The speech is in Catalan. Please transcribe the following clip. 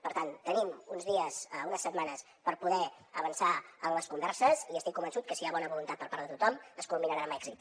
per tant tenim uns dies unes setmanes per poder avançar en les converses i estic convençut que si hi ha bona voluntat per part de tothom es culminaran amb èxit